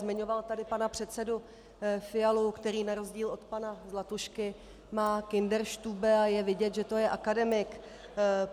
Zmiňoval tady pana předsedu Fialu, který na rozdíl od pana Zlatušky má kinderstube a je vidět, že to je akademik.